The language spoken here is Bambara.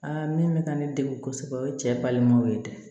Aa min bɛ ka ne dege kosɛbɛ o ye cɛ balimaw ye dɛ